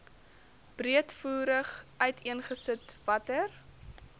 breedvoerig uiteengesit watter